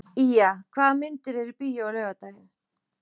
Ýja, hvaða myndir eru í bíó á laugardaginn?